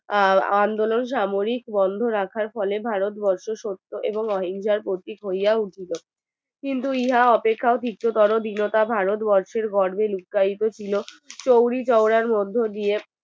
আহ আন্দোলন সামরিক বন্ধ রাখিবার ফলে ভারত বর্ষে সত্য এবং অহিংসার প্রতীক হইয়া উঠছিল কিন্তু ইহা অপেক্ষা ভারত বর্ষের গর্বে লুকাইতে ছিল কুড়ি চৌড়ার মধ্য দিয়ে